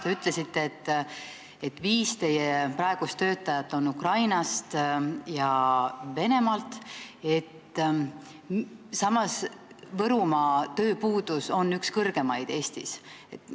Te ütlesite ka, et viis teie praegust töötajat on Ukrainast ja Venemaalt, samas kui Võrumaal on üks Eesti kõrgemaid tööpuuduse näitajaid.